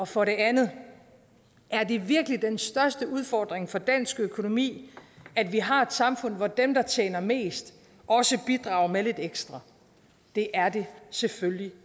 for det andet er det virkelig den største udfordring for dansk økonomi at vi har et samfund hvor dem der tjener mest også bidrager med lidt ekstra det er det selvfølgelig